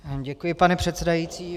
Děkuji, pane předsedající.